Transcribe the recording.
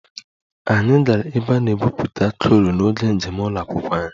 Anyị gara ebe a na-egwupụta coal n'oge njem ụlọ akwụkwọ anyị